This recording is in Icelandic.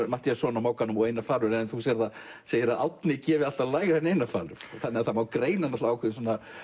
Matthíasson á Mogganum og Einar falur en þú segir að Árni gefi alltaf lægra en Einar falur þannig að það má greina ákveðna